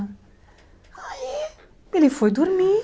Aí, ele foi dormir.